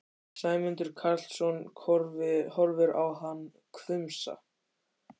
Sæmundur Karlsson horfir á hann hvumsa.